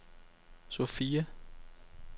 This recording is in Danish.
Sofia